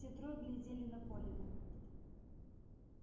все трое глядели на колина